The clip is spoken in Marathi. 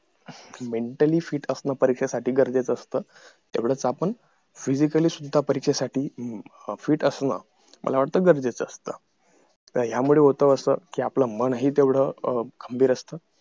mentally fit असणं परीक्षेसाठी गरजेचं असत तेवढच आपण physically सुद्धा परीक्षेसाठी fit असणं मला वाटत गरजेच असत तर ह्यामुळे होत असं कि आपलं मन हि तेवढ अं खंबीर असत